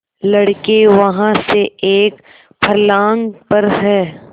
लड़के वहाँ से एक फर्लांग पर हैं